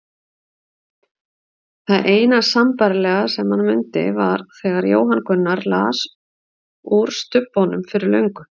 Það eina sambærilega sem hann mundi var þegar Jóhann Gunnar las úr Stubbnum fyrir löngu.